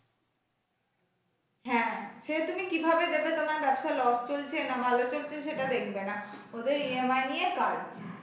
হ্যাঁ সে তুমি কিভাবে দেবে তোমার ব্যবসা loss চলছে না ভালো চলছে সেটা দেখবে না ওদের EMI নিয়ে কাজ।।